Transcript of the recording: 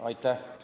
Aitäh!